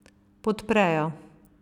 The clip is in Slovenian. Podprejo.